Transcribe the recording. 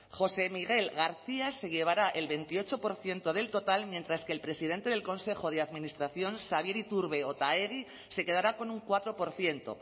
josé miguel garcía se llevará el veintiocho por ciento del total mientras que el presidente del consejo de administración xabier iturbe otaegi se quedará con un cuatro por ciento